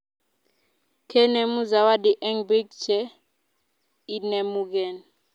kenemu zawadi eng piik che inemugei